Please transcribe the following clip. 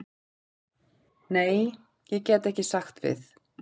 Nei, ég get ekki sagt við.